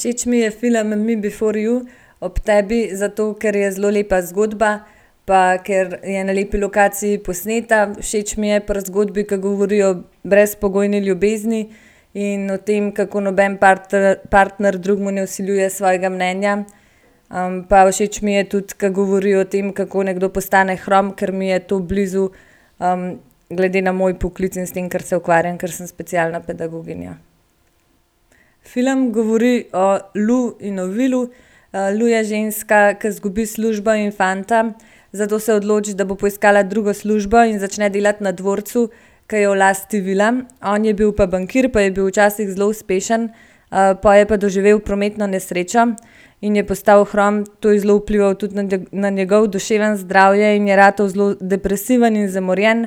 Všeč mi je film Me before you, Ob tebi, zato, ker je zelo lepa zgodba pa ker je n lepi lokaciji posneta. Všeč mi je pri zgodbi, ki govori o brezpogojni ljubezni in o tem, kako noben partner drugemu ne vsiljuje svojega mnenja. pa všeč mi je tudi, ke govori o tem, kako nekdo postane hrom, ker mi je to blizu, glede na moj poklic in s tem, kar se ukvarjam, ker sem specialna pedagoginja. Film govori Lou in o Willu. Lou je ženska, ki izgubi službo in fanta, zato se odloči, da bo poiskala drugo službo in začne delati na dvorcu, ke je v lasti Willa. On je bil pa bankir pa je bil včasih zelo uspešen, pol je pa doživel prometno nesrečo in je postal hrom. To je zelo vplivalo tudi na na njegovo duševno zdravje in je ratal zelo depresiven in zamorjen.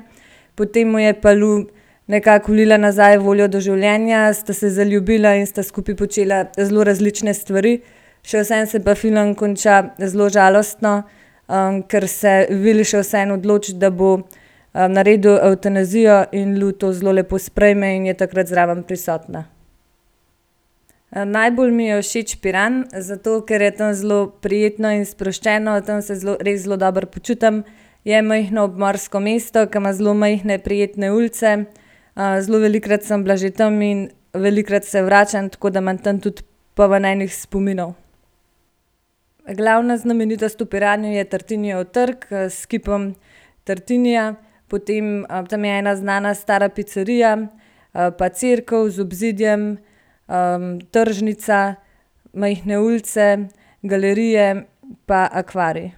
Potem mu je pa Lou nekako vlila nazaj voljo do življenja, sta se zljubila in sta skupaj počela zelo različne stvari. Še vseeno se pa film konča zelo žalostno, ker se Will še vseeno odloči, da bo, naredil evtanazijo in Lou to zelo lepo sprejme in je takrat zraven prisotna. najbolj mi je všeč Piran, zato ker je tam zelo prijetno in sproščeno. Tam se zelo, res zelo dobro počutim. Je majhno obmorsko mesto, ke ima zelo majhne, prijetne ulice. zelo velikokrat sem bila že tam in velikokrat se vračam, tako da imam tam tudi polno enih spominov. Glavna znamenitost v Piranu je Tartinijev trg, s kipom Tartinija. Potem, tam je ena znana stara picerija, pa cerkev z obzidjem, tržnica, majhne ulice, galerije pa akvarij.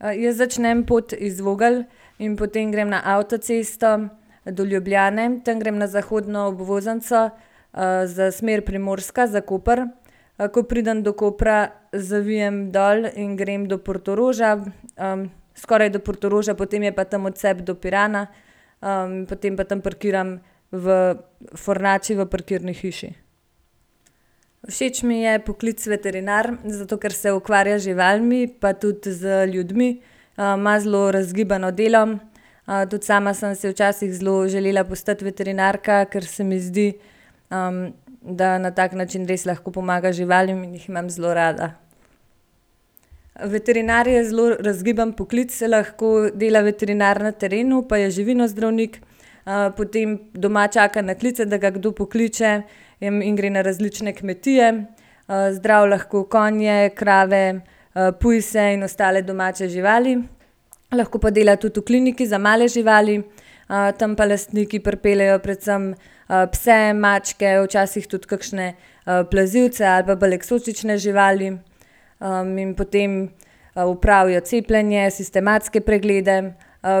Jaz začnem pot iz Vogelj in potem grem na avtocesto do Ljubljane. Tam grem na zahodno obvoznico, za smer Primorska, za Koper. ko pridem do Kopra, zavijem dol in grem do Portoroža. skoraj do Portoroža, potem je pa tam odcep do Pirana. potem pa tam parkiram v Fornače v parkirni hiši. Všeč mi je poklic veterinar, zato ker se ukvarja z živalmi pa tudi z ljudmi. ima zelo razgibano delo, tudi sama sem se včasih zelo želela postati veterinarka, ker se mi zdi, da na tak način res lahko pomagaš živalim in jih imam zelo rada. Veterinar je zelo razgiban poklic. Lahko dela veterinar na terenu pa je živinozdravnik, potem doma čaka na klice, da ga kdo pokliče, in gre na različne kmetije. zdravi lahko konje, krave, pujse in ostale domače živali. Lahko pa dela tudi v kliniki za male živali. tam pa lastniki pripeljejo predvsem, pse, mačke, včasih tudi kakšne, plazilce ali pa bolj eksotične živali. in potem, opravijo cepljenje, sistematske preglede,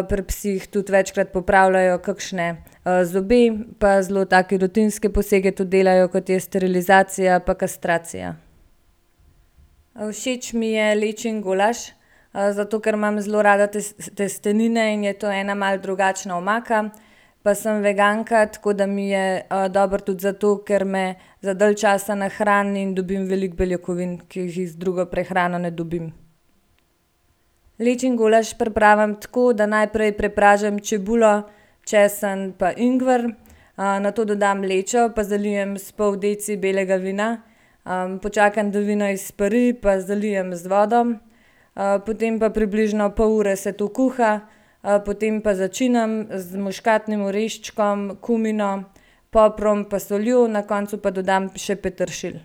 pri psih tudi večkrat popravljajo kakšne, zobe. Pa zelo take rutinske posege tudi delajo, kot je sterilizacija pa kastracija. všeč mi je lečin golaž, zato ker imam zelo rada testenine in je to ena malo drugačna omaka. Pa sem veganka, tako da mi je, dobro tudi zato, ker me za dalj časa nahrani in dobim veliko beljakovin, ki jih z drugo prehrano ne dobim. Lečin golaž pripravim tako, da najprej prepražim čebulo, česen pa ingver, nato dodam lečo pa zalijem s pol deci belega vina. počakam, da vino izpari pa zalijem z vodo. potem pa približno pol ure se to kuha, potem pa začinim z muškatnim oreščkom, kumino, poprom pa soljo, na koncu pa dodam še peteršilj.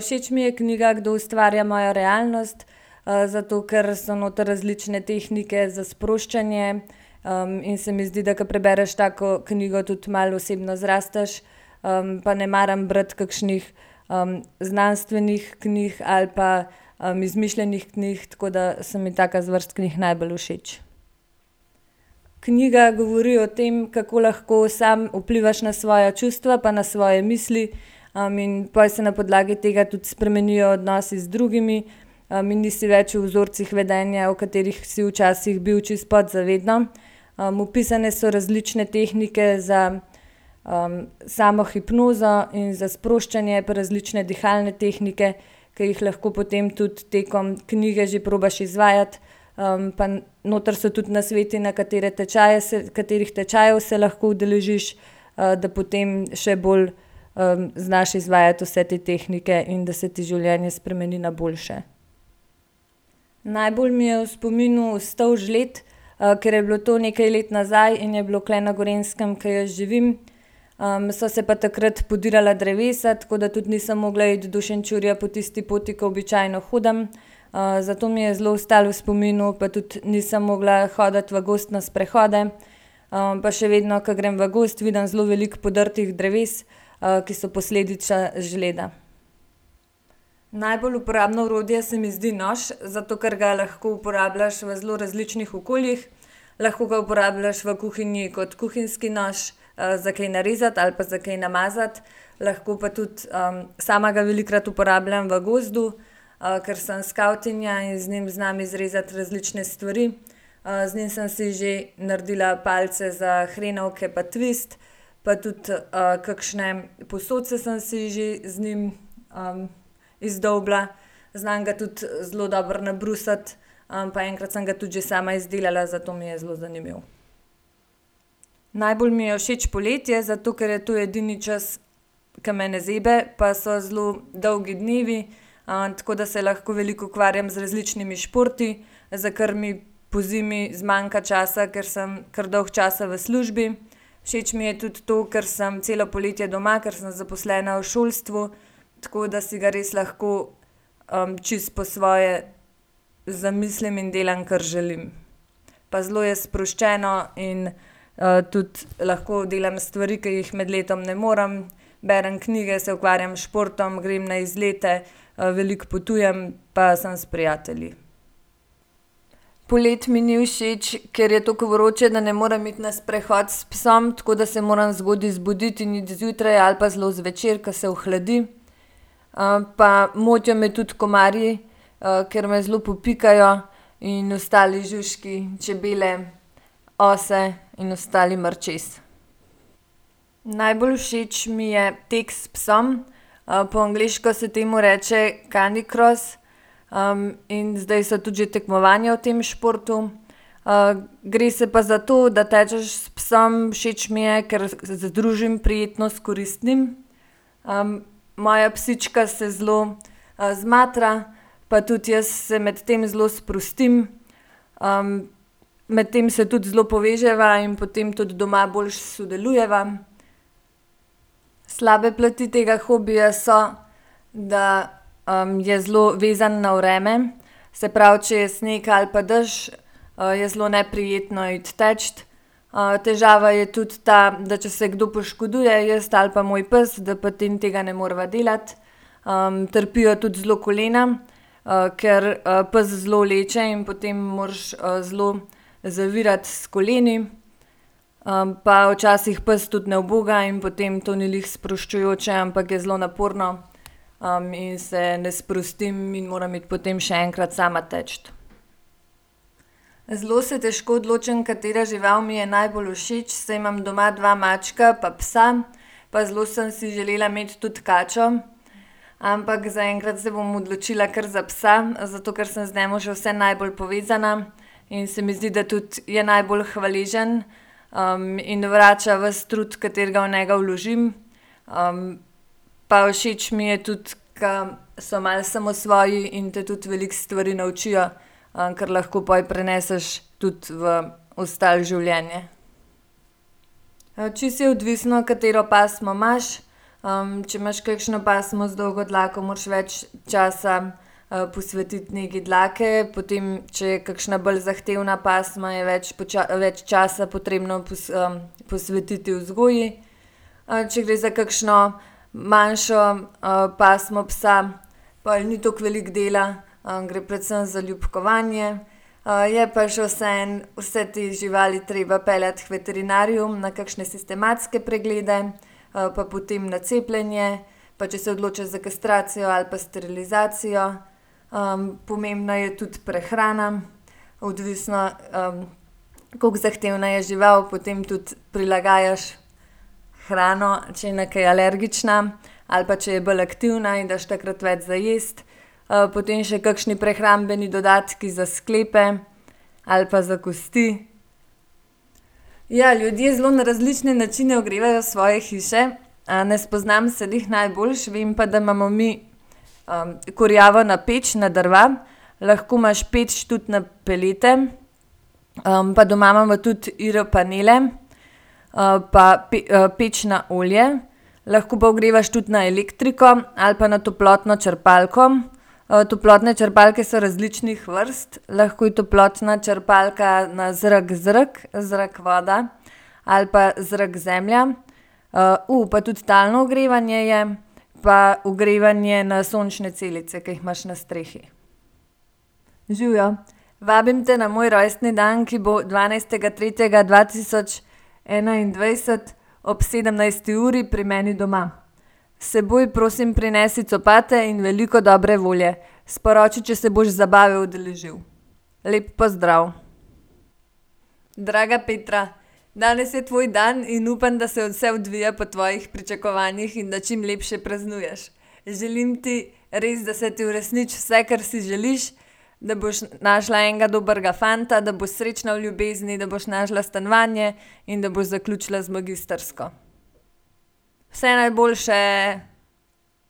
všeč mi je knjiga Kdo ustvarja mojo realnost, zato ker so noter različne tehnike za sproščanje, in se mi zdi, da ko prebereš tako knjigo tudi malo osebno zrasteš, pa ne maram brati kakšnih, znanstvenih knjig ali pa, izmišljenih knjig, tako da so mi taka zvrst knjig najbolj všeč. Knjiga govori o tem, kako lahko sam vplivaš na svoja čustva pa na svoje misli, in pol se na podlagi tega tudi spremenijo odnosi z drugimi, in nisi več v vzorcih vedenja, v katerih si včasih bil čisto podzavedno. opisane so različne tehnike za, samohipnozo in za sproščanje, pa različne dihalne tehnike, ke jih lahko potem tudi tekom knjige že probaš izvajati. pa noter so tudi nasveti, na katere tečaje se, katerih tečajev se lahko udeležiš, da potem še bolj, znaš izvajati vse te tehnike in da se ti življenje spremeni na boljše. Najbolj mi je v spominu ostal žled, ker je bilo to nekj let nazaj in je bilo tule na Gorenjskem, ke jaz živim. so se pa takrat podirala drevesa, tako da tudi nisem mogla iti do Šenčurja po tisti poti, kot običajno hodim. zato mi je zelo ostalo v spominu, pa tudi nisem mogla hoditi v gozd na sprehode. pa še vedno, ke grem v gozd, vidim zelo veliko podrtih dreves, ki so posledica žleda. Najbolj uporabno orodje se mi zdi nož, zato ker ga lahko uporabljaš v zelo različnih okoljih. Lahko ga uporabljaš v kuhinji kot kuhinjski nož, za kaj narezati ali pa za kaj namazati. Lahko pa tudi, sama ga velikokrat uporabljam v gozdu, ker sem skavtinja in z njim znam izrezati različne stvari. z njim sem si že naredila palice za hrenovke pa tvist pa tudi, kakšne posodice sem si že z njim, izdolbla. Znam ga tudi zelo dobro nabrusiti, pa enkrat sem ga tudi že sama izdelala, zato mi je zelo zanimiv. Najbolj mi je všeč poletje, zato ker je to edini čas, ke me ne zebe pa so zelo dolgi dnevi, tako da se lahko veliko ukvarjam z različnimi športi, za kar mi pozimi zmanjka časa, ker sem kar dolgo časa v službi. Všeč mi je tudi to, ker sem celo poletje doma, ker sem zaposlena v šolstvu, tako da si ga res lahko, čisto po svoje zamislim in delam, kar želim. Pa zelo je sproščeno in, tudi lahko delam stvari, ke jih med letom ne morem, berem knjige, se ukvarjam s športom, grem na izlete, veliko potujem pa sem s prijatelji. Poleti mi ni všeč, ker je tako vroče, da ne morem iti na sprehod s psom, tako da se moram zgodaj zbuditi in iti zjutraj ali pa zelo zvečer, ke se ohladi. pa motijo me tudi komarji, ker me zelo popikajo, in ostali žužki, čebele, ose in ostali mrčes. Najbolj všeč mi je tako s psom. po angleško se temu reče canicross. in zdaj so tudi že tekmovanja v tem športu. gre se pa zato, da tečeš s psom. Všeč mi je, ker združim prijetno s koristnim, moja psička se zelo, zmatra, pa tudi jaz se medtem zelo sprostim. medtem se tudi zelo poveževa in potem tudi doma boljše sodelujeva. Slabe plati tega hobija so, da, je zelo vezan na vreme, se pravi, če je sneg ali pa dež, je zelo neprijetno iti teč. težava je tudi ta, da če se kdo poškoduje, jaz ali pa moj pes, da potem tega ne moreva delati. trpijo tudi zelo kolena, ker, pes zelo vleče in potem moraš, zelo zavirati s koleni. pa včasih pes tudi ne uboga in potem to ni glih sproščujoče, ampak je zelo naporno, in se ne sprostim in moram iti potem še enkrat sama teč. Zelo se težko odločim, katera žival mi je najbolj všeč, saj imam doma dva mačka pa psa. Pa zelo sem si želela imeti tudi kačo. Ampak zaenkrat se bom odločila kar za psa, zato ker sem z njim še vseeno najbolj povezana in se mi zdi, da tudi je najbolj hvaležen, in vrača vas trud, katerega v njega vložim. pa všeč mi je tudi, ke so malo samosvoji in te tudi veliko stvari naučijo, ker lahko pol preneseš tudi v ostalo življenje. Čisto je odvisno, katero pasmo imaš. če imaš kakšno pasmo z dolgo dlako, moraš več časa, posvetiti negi dlake, potem če je kakšna bolj zahtevna pasma, je več več časa potrebno posvetiti vzgoji. če gre za kakšno manjšo, pasmo psa, pol ni toliko velik dela, gre predvsem za ljubkovanje. je pa še vseeno vse te živali treba peljati k veterinarju na kakšne sistematske preglede, pa potem na cepljenje. Pa če se odločiš za kastracijo ali pa sterilizacijo. pomembna je tudi prehrana. Odvisno, koliko zahtevna je žival, potem tudi prilagajaš hrano, če je na kaj alergična ali pa če je bolj aktivna in daš takrat več za jesti. potem še kakšni prehrambeni dodatki za sklepe ali pa za kosti. Ja, ljudje zelo na različne načine ogrevajo svoje hiše. ne spoznam se glih najboljše, vem pa, da imamo mi kurjavo na peč, na drva. Lahko imaš peč tudi na pelete. pa doma imamo tudi IR-panele. pa peč na olje. Lahko pa ogrevaš tudi na elektriko ali pa na toplotno črpalko. toplotne črpalke so različnih vrst. Lahko je toplotna črpalka na zrak-zrak, zrak-voda ali pa zrak-zemlja. pa tudi talno ogrevanje je pa ogrevanje na sončne celice, ke jih imaš na strehi. Živjo, vabim te na moj rojstni dan, ki bo dvanajstega tretjega dva tisoč enaindvajset ob sedemnajsti uri pri meni doma. S seboj prosim prinesi copate in veliko dobre volje. Sporoči, če se boš zabave udeležil. Lep pozdrav. Draga Petra, danes je tvoj dan in upam, da se vse odvija po tvojih pričakovanjih in da čim lepše praznuješ. Želim ti res, da se ti uresniči vse, kar si želiš, da boš našla enega dobrega fanta, da boš srečna v ljubezni, da boš našla stanovanje in da boš zaključila z magistrsko. Vse najboljše.